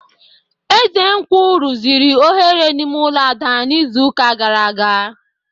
Ezenkwu rụziri oghere n'ime ụlọ Ada n'izuụka gara aga